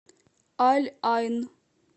аль айн